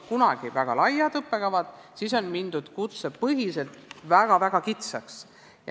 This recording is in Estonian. Kunagi olid väga laiad õppekavad, aga nüüd on mindud kutsepõhiselt väga-väga kitsaks.